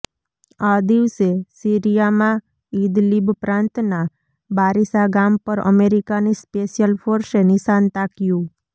આ દિવસે સીરિયામાં ઇદલિબ પ્રાંતના બારિશા ગામ પર અમેરિકાની સ્પેશિયલ ફોર્સે નિશાન તાક્યું